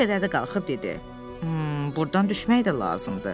Bir qədər də qalxıb dedi: burdan düşmək də lazımdır.